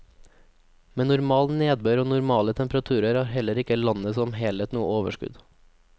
Med normal nedbør og normale temperaturer har heller ikke landet som helhet noe overskudd.